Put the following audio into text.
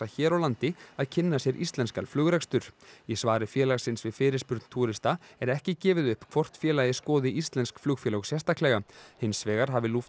hér á landi að kynna sér íslenskan flugrekstur í svari félagsins við fyrirspurn túrista er ekki gefið upp hvort félagið skoði íslensk flugfélög sérstaklega hins vegar hafi